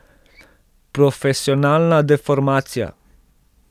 Profesionalna deformacija?